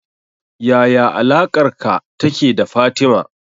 Yaya alaƙarka take da Fatima